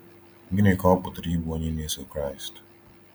Gịnị ka ọ pụtara ịbụ onye na-eso Kraịst?